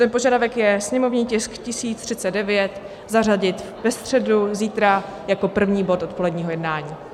Ten požadavek je sněmovní tisk 1039 zařadit ve středu, zítra, jako první bod odpoledního jednání.